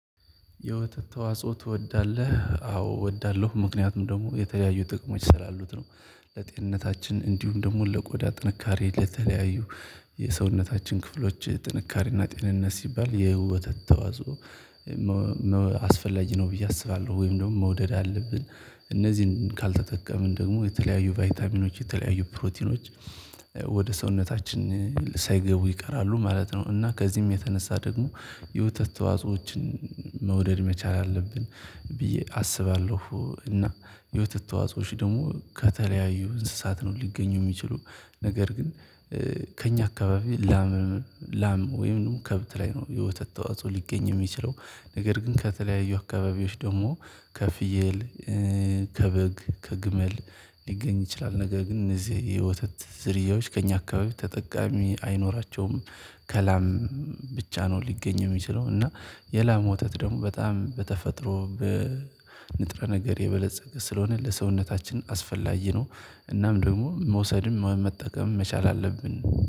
"የወተት ተዋጽኦ ትወዳለህ?" አዎ እወዳለሁ ምክንያቱም ደግሞ የተለያዩ ጥቅሞች ስላሉት ነው። ለጤንነታችን እንዲሁም ደግሞ ለቆዳ ጥንካሬ ለተለያዩ የሰውነታችን ክፍሎች ጥንካሬና ጤንነት ሲባል የወተት ተዋጽኦ አስፈላጊ ነው ብዬ አስባለሁ። ወይም ደግሞ መውደድ አለብን። እነዚህን ካልተጠቀምን ደግሞ የተለያዩ ቫይታሚኖች የተለያዩ ፕሮቲኖች ወደ ሰውነታችን ሳይገቡ ይቀራሉ ማለት ነው። እና ከዚህም የተነሳ ደግሞ የወተት ተዋጽኦዎችን መውደድ መቻል አለብን ብዬ አስባለሁ እና የወተት ተዋጽኦዎች ደግሞ ከተለያዩ እንስሳት ነው ሊገኙ የሚችሉ። ነገር ግን ከእኛ አካባቢ ላም ወይም ከብት ላይ ነው የወተት ተዋጽኦ ሊገኝ የሚችለው፤ ነገር ግን ከተለያዩ አካባቢዎች ደግሞ ከፍየል ከበግ፣ ከግመል፣ ሊገኝ ይችላል። ነገር ግን እነዚህ የወተት ዝርያዎች ከእኛ አካባቢ ተጠቃሚ አይኖራቸውም። ከላም ብቻ ነው ሊገኝ የሚችለው እና የላም ወተት ደግሞ በጣም በተፈጥሮ በንጥረ ነገር የበለፀገ ስለሆነ ለሰውነታችን አስፈላጊ ነው። እናም ደግሞ መውሰድም መጠቀምም መቻል አለብን።